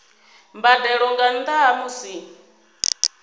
mbadelo nga nnda ha musi